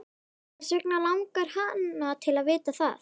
Hvers vegna langar hana til að vita það?